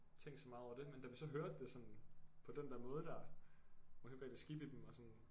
Tænkt så meget over det men da vi så hørte det sådan på den der måde dér man kunne ikke rigtig skippe i dem og sådan